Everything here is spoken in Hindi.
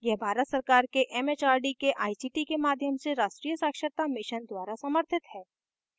यह भारत सरकार के it it आर डी के आई सी टी के माध्यम से राष्ट्रीय साक्षरता mission द्वारा समर्थित है